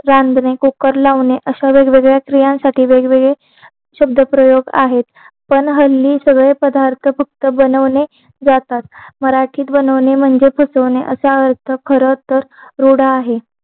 रांधणे cooker लावणे अशा वेगवेगळ्या क्रियांसाठी वेगवेगळे शब्दप्रयोग आहेत पण हल्ली सगळे पदार्थ फक्त बनवणे जातात मराठीत बनवणे म्हणजे फसवणे असा अर्थ खरं तर रूढ आहे